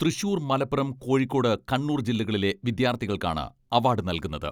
തൃശൂർ, മലപ്പുറം, കോഴിക്കോട്, കണ്ണൂർ ജില്ലകളിലെ വിദ്യാർത്ഥികൾക്കാണ് അവാഡ് നൽകുന്നത്.